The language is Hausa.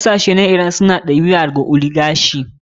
Kasashe kamar iran suna ɗabaka ɗabi a ta oligarchy.